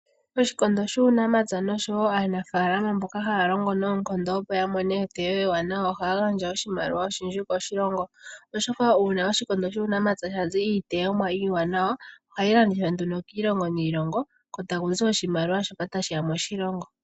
Oshikondo shuunamapya noshowo aanafaalama mboka ha ya longo noonkondo opo ya mone eteyo ewanawa oha ya gandja oshimaliwa oshindji koshilongo , oshoka uuna oshikondo shuunamapya sha zi eteyo ewanawa oha yi landithwa kiilongo niilongo ko ta kuzi oshimaliwa shoka ta shiya moshilongo